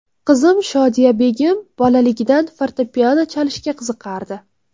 Qizim Shodiyabegim bolaligidan fortepiano chalishga qiziqardi.